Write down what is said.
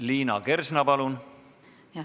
Liina Kersna, palun!